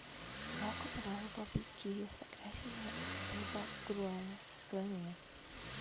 рок н ролл в объективе фотографии боба груэна открой мне